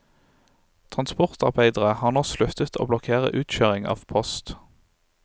Transportarbeiderne har nå sluttet å blokkere utkjøring av post.